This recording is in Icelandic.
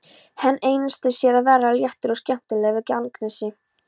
Hann einsetur sér að vera léttur og skemmtilegur við Agnesi.